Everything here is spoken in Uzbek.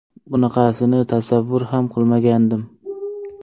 Bunaqasini tasavvur ham qilmagandim.